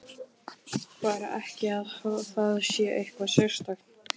Stefán hljóp af stað en þá lyfti Thomas höfði.